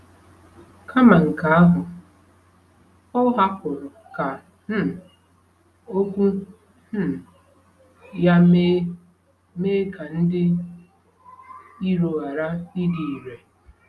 Kama nke ahụ, o hapụrụ ka um Okwu um ya mee mee ka ndị iro ghara ịdị irè.